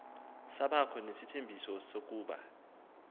sabakho nesithembiso sokuba